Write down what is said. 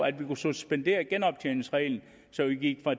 at vi kunne suspendere genoptjeningsreglen så vi gik